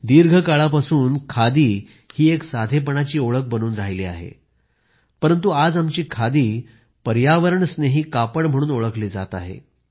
दीर्घकाळापासून खादी ही एक साधेपणाची ओळख बनून राहिली आहे परंतु आज आमची खादी पर्यावरण स्नेही कापड म्हणून ओळखली जात आहे